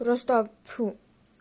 просто пфу